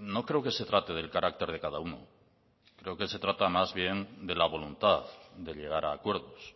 no creo que se trate del carácter de cada uno creo que se trata más bien de la voluntad de llegar a acuerdos